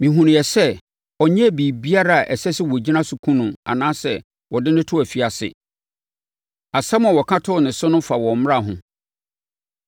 Mehunuiɛ sɛ ɔnyɛɛ biribiara a ɛsɛ sɛ wɔgyina so kum no anaasɛ wɔde no to afiase. Asɛm a wɔka too ne so no fa wɔn mmara ho.